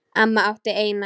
Amma átti eina.